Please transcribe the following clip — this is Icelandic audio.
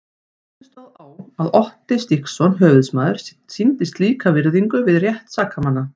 Hvernig stóð á að Otti Stígsson höfuðsmaður sýndi slíka virðingu við rétt sakamanna?